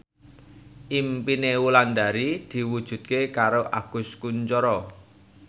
impine Wulandari diwujudke karo Agus Kuncoro